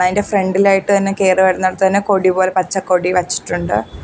ഇതിന്റെ ഫ്രണ്ടിലായിട്ട് തന്നെ കേറി വരുന്നിടത്ത് തന്നെ കൊടിപോലെ പച്ചക്കൊടി വെച്ചിട്ടുണ്ട്.